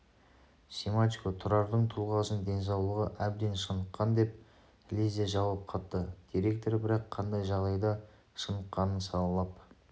семашко тұрардың тұлғасын денсаулығы әбден шыныққан деп лезде жауап қатты директор бірақ қандай жағдайда шыныққанын салалап